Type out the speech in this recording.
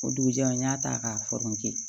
O dugujɛ n y'a ta k'a